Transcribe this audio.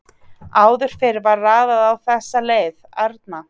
Áður fyrr var raðað á þessa leið: Arna